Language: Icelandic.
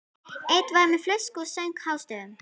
Einn var með flösku og söng hástöfum.